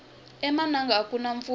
emananga akuna mpfula